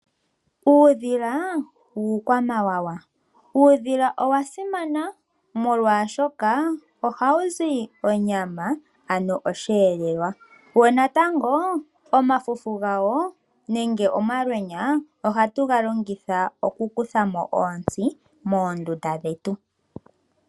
Uudhila iikwamawawa, uudhila owa simana molwaashoka ohawu zi onyama ano osheelelwa, wo nokuli omafufu gawo nenge omalwenya ohatu galongitha oku kutha mo oontsi moondunda dhetu.